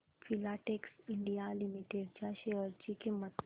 Filatex India limited च्या share ची किंमत